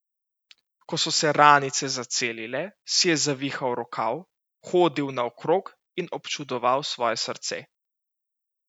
Ko so se ranice zacelile, si je zavihal rokav, hodil naokrog in občudoval svoje srce.